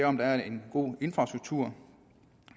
om der er en god infrastruktur